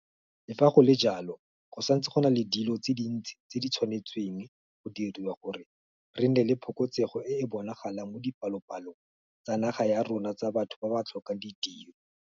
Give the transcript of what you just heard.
Le fa go le jalo, go santse go na le dilo tse dintsi tse di tshwanetsweng go diriwa gore re nne le phokotsego e e bonagalang mo dipalopalong tsa naga ya rona tsa batho ba ba tlhokang ditiro.